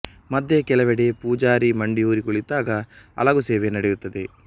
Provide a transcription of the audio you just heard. ಮಧ್ಯೆ ಕೆಲವೆಡೆ ಪೂಜಾರಿ ಮಂಡಿಯೂರಿ ಕುಳಿತಾಗ ಅಲಗು ಸೇವೆ ನಡೆಯುತ್ತದೆ